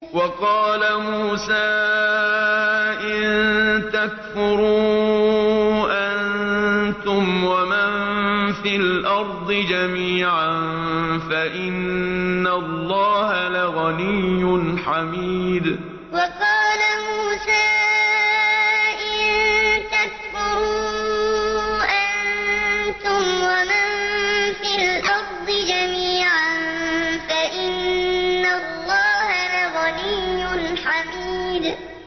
وَقَالَ مُوسَىٰ إِن تَكْفُرُوا أَنتُمْ وَمَن فِي الْأَرْضِ جَمِيعًا فَإِنَّ اللَّهَ لَغَنِيٌّ حَمِيدٌ وَقَالَ مُوسَىٰ إِن تَكْفُرُوا أَنتُمْ وَمَن فِي الْأَرْضِ جَمِيعًا فَإِنَّ اللَّهَ لَغَنِيٌّ حَمِيدٌ